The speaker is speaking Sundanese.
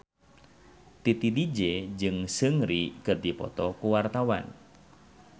Titi DJ jeung Seungri keur dipoto ku wartawan